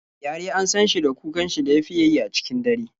Gyare an san shi da kukan shi da ya fiya yi a cikin dare.